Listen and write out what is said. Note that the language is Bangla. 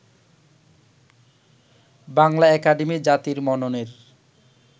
বাংলা একাডেমি জাতির মননের